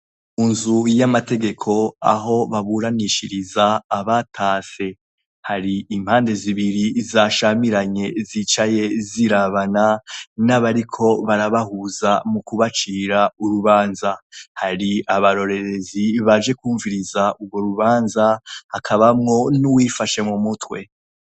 Mu nzu y'amategeko aho baburanishiriza abatase. Hari impande zibiri zashamiranye zicaye zirabana, n'abariko barabahuza mu kubacira urubanza. Hari abarorerezi baje kwumviriza urwo rubanza, hakabamwo n'uwifashe mu mutwe.